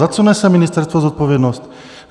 Za co nese ministerstvo zodpovědnost?